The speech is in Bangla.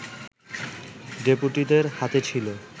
ডেপুটিদের হাতে ছিল